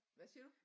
Hvad siger du?